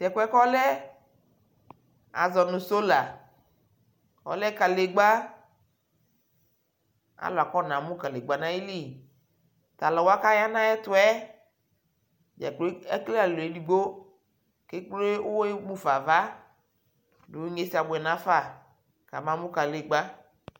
Tɛkuɛ kʋ ɔlɛ, azɔ nʋ sola, ɔlɛ kanegba kʋ alʋ afɔnamʋ kalegba nʋ ayʋli Talʋwa kaya nʋ ayʋ ɛtu yɛ dza kplo ekele alɔ edigbo mʋ ekple uwɔ mʋ fa nʋ ava dʋ inyeza abuɛ nʋ afa amamʋ kalegba